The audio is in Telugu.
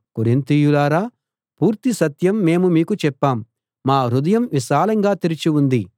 కొరింతీయులారా పూర్తి సత్యం మేము మీకు చెప్పాం మా హృదయం విశాలంగా తెరిచి ఉంది